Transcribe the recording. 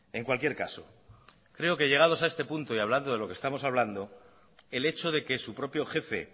en cualquier caso creo que llegando a este punto y hablando de lo que estamos hablando el hecho de que su propio jefe